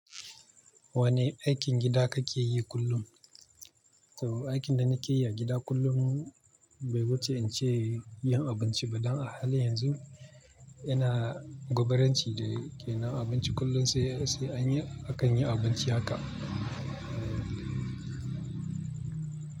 Wane aikin gida kake yi kullum? To aikin da nake yi a gida kullum bai wuce in ce yin abinci ba dan a halin yanzu ina gwabaran ci da ke nan abinci kullum sai sai anyi akan yi abinci haka.